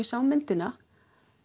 sá myndina